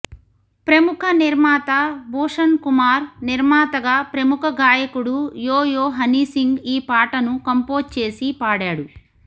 ప్రముఖ నిర్మాత భూషణ్కుమార్ నిర్మాతగా ప్రముఖ గాయకుడు యోయో హానీసింగ్ ఈ పాటను కంపోజ్ చేసి పాడాడు